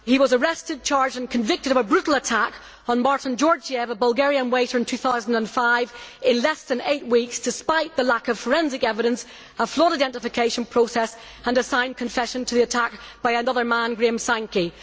He was arrested, charged and convicted of a brutal attack on Martin Georgiev, a Bulgarian waiter, in 2005 in less than eight weeks, despite the lack of forensic evidence, a flawed identification process and a signed confession to the attack by another man, Graham Sankey.